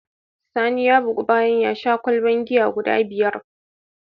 Sani ya bugu bayan yasha kwalban giya guda biyar